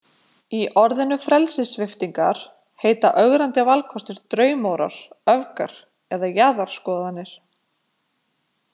Í orðræðu frelsissviptingar heita ögrandi valkostir „draumórar“ , „öfgar“ eða „jaðarskoðanir“.